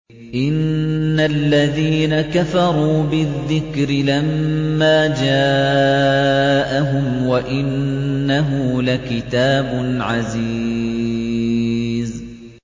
إِنَّ الَّذِينَ كَفَرُوا بِالذِّكْرِ لَمَّا جَاءَهُمْ ۖ وَإِنَّهُ لَكِتَابٌ عَزِيزٌ